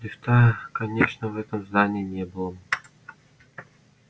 лифта конечно в этом здании не было